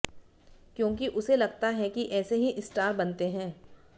क्योंकि उसे लगता है कि ऐसे ही स्टार बनते हैं